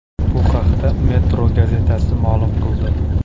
Bu haqda Metro gazetasi ma’lum qildi.